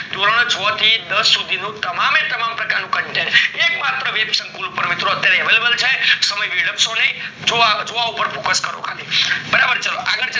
ધોરણ છ થી ધોરણ દસ નું તમામ એ તમામ પ્રકારનું content એક માત્ર વેવ્બ્સંકુલ મિત્રો available છે સમય વિલાબ્સો નય જોવા ઉપર focus કરો ખાલી બરાબર